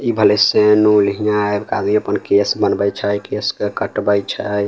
ई भले से नूल हियां एक आदमी अपन केश बनवइ छई केश क कटवई छई।